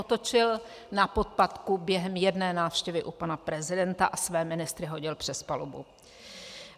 Otočil na podpatku během jedné návštěvy u pana prezidenta a své ministry hodil přes palubu.